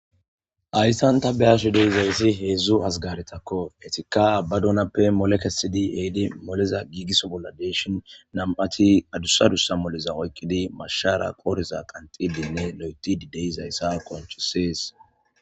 ayssan ta beashu dey zayssi heedzdzu hazgaretakko etika ba dunappe molekesidi eedi moliza giigiso bolla deeshon nam7ati adussadussa moliza oykkidi mashshara qooriza qantidinne lo7eti di deyzayssa konchisees